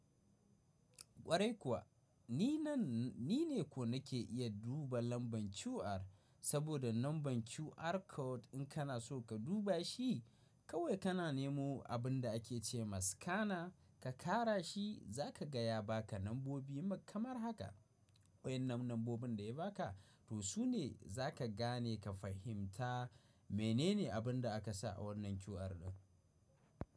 Ƙwarai kuwa, ni nan ni ne ko nake iya duba lambar QR, saboda lambar QR code in kana so ka duba shi kawai kana nemo abun da ake ce ma scanner ka ƙara shi za ka gaya ba ka lambobi kamar haka. Wa'yan nan nombobin da ya ba ka to su ne za ka gane ka fahimta menene abun da aka sa a wannan QR ɗin.